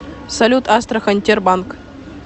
салют астрахань тербанк